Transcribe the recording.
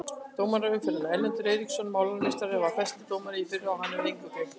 Dómari umferðarinnar: Erlendur Eiríksson Málarameistarinn var besti dómarinn í fyrra og hann hefur engu gleymt.